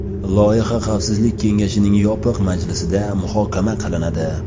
Loyiha Xavfsizlik kengashining yopiq majlisida muhokama qilinadi.